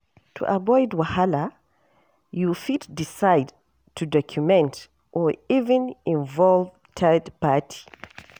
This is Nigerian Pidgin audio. To avoid wahala you fit decide to document or even involve third party